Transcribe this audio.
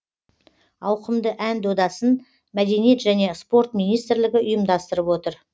ауқымды ән додасын мәдениет және спорт министрлігі ұйымдастырып отыр